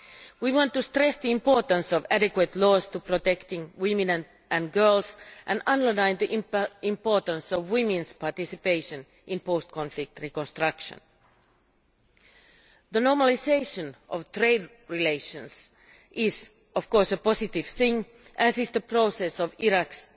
We want to stress the importance of adequate laws to protect women and girls and underline the importance of women's participation in post conflict reconstruction. The normalisation of trade relations is, of course, a positive thing, as is the process of Iraq's